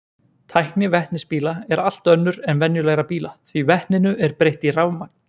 Tækni vetnisbíla er allt önnur en venjulegra bíla því vetninu er breytt í rafmagn.